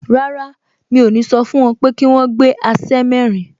Rárá, mi ò ní sọ fún wọn pé kí wọ́n gbé aṣẹ́ mẹ́rin